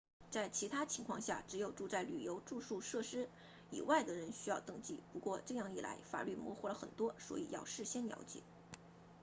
在其他情况下只有住在旅游住宿设施以外的人需要登记不过这样一来法律模糊了很多所以要事先了解